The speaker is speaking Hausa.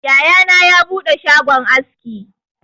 Yaya na ya buɗe shagon aski